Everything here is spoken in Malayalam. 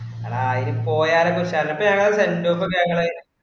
എടാ എനി പോയാലും ചിലപ്പാ ഞങളെ sendoff ഒക്കെ ഞങ്ങള്